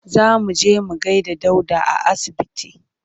Za mu je mu gaida Dauda a asibiti.